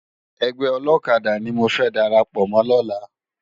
Ègbè òlòkàdá ni mó fè dàrápò mò lòlá